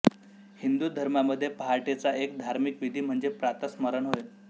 हिंदू धर्मामध्ये पहाटेचा एक धार्मिक विधी म्हणजे प्रातःस्मरण होय